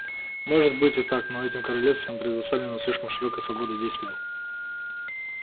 может быть и так но этим королевствам предоставлена слишком широкая свобода действия